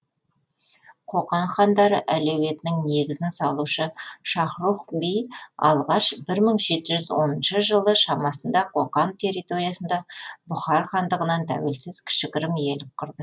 қоқан хандары әулетінің негізін салушы шахрух би алғаш бір мың жеті жүз оныншы жылы шамасында қоқан территориясында бұхар хандығынан тәуелсіз кішігірім иелік құрды